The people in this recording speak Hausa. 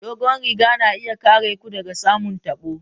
Dogon riga na iya kare ku daga samun tabo.